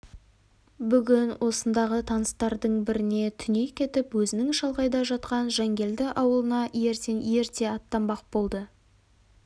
бүгін осындағы таныстардың біріне түней кетіп өзінің шалғайда жатқан жангелді ауылына ертең ерте аттанбақ болды